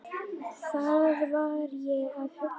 Hvað var ég að hugsa?